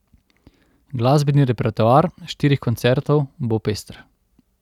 Glasbeni repertoar štirih koncertov bo pester.